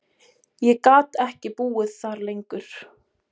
Ég gat ekki búið þar lengur.